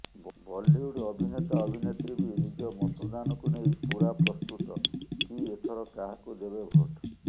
ବଲିଉଡ ଅଭିନେତା ଅଭିନେତ୍ରୀ ବି ନିଜ ମତଦାନକୁ ନେଇ ପୂରା ପ୍ରସ୍ତୁତ କି ଏଥର କାହାକୁ ଦେବେ ଭୋଟ